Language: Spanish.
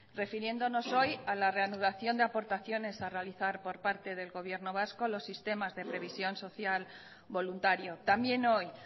refiriéndonos hoy a la reanudación de aportaciones a realizar por parte del gobierno vasco a los sistemas de previsión social voluntario también hoy